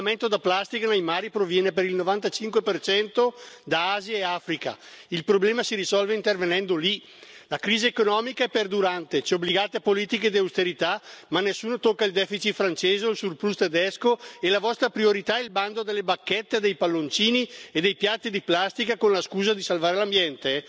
L'inquinamento da plastica nei mari proviene per il 95 da Asia e Africa, il problema si risolve intervenendo lì. La crisi economica è perdurante, ci obbligate a politiche di austerità, ma nessuno tocca il deficit francese o il surplus tedesco e la vostra priorità è il bando delle bacchette dei palloncini e dei piatti di plastica con la scusa di salvare l'ambiente?